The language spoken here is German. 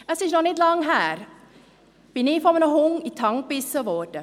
Es ist noch nicht lange her, dass ich von einem Hund in die Hand gebissen wurde.